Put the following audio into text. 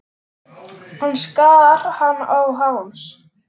Hann skar hana á háls.